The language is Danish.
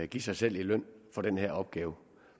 give sig selv i løn for den her opgave